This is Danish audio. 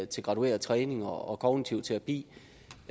til gradueret træning og kognitiv terapi